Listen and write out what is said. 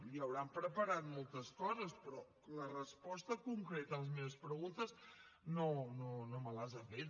li deuen haver preparat moltes coses però les respostes concretes a les meves preguntes no me las ha fet